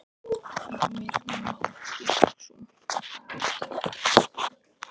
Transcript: Heimir Már Pétursson: Og það var stefnt að því?